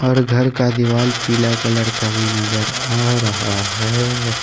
और घर का दिवाल पीला कलर का भी नजर आ रहा है।